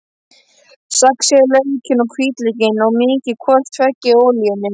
Saxið laukinn og hvítlaukinn og mýkið hvort tveggja í olíunni.